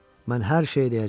Mən hər şeyi deyəcəyəm.